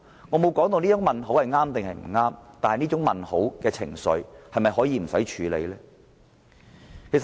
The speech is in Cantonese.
我沒說這些問號是對是錯，但這些問號代表的情緒是否可以置之不理？